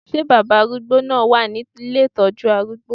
Ṣé baba arúgbó náà wà ní ilé ìtọ́jú arúgbó?